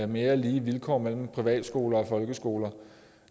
mere lige vilkår mellem privatskoler og folkeskoler